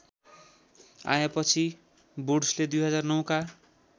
आएपछि वुड्सले २००९ का